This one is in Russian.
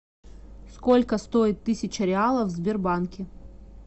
сколько стоит тысяча реалов в сбербанке